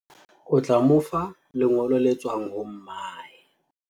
o tla mo fa lengolo le tswang ho mmae